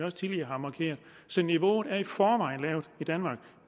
også tidligere har markeret så niveauet er i forvejen lavt i danmark